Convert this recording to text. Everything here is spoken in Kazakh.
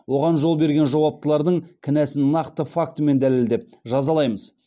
оған жол берген жауаптылардың кінәсін нақты фактімен дәлелдеп жазалаймыз